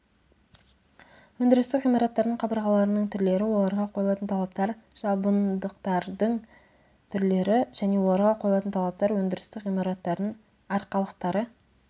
өндірістік ғимараттардың қабырғаларының түрлері оларға қойылатын талаптар жабындықтардың түрлері және оларға қойылатын талаптар өндірістік ғимараттардың арқалықтары